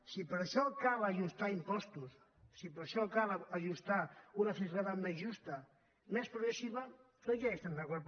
si per a això cal ajustar impostos si per a això cal ajustar una fiscalitat més justa més progressiva doncs ja hi estem d’acord